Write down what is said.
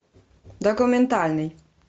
документальный